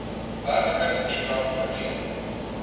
werklike stukrag verleen